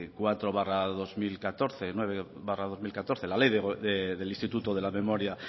cuatro barra dos mil catorce la ley del instituto de la memoria